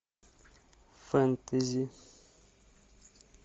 фэнтези